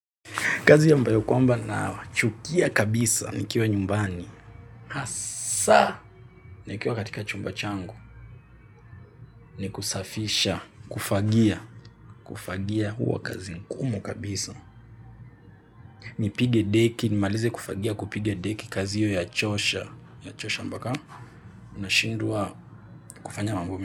Kazi ambayo kwamba na chukia kabisa. Nikiwa nyumbani hasa. Nikiwa katika chumba changu. Ni kusafisha. Kufagia. Kufagia huwa kazi ngumu kabisa. Nipige deki. Nimalize kufagia kupiga deki kazi hio yachosha. Ya chosha mpaka. Unashindwa kufanya mambo mi.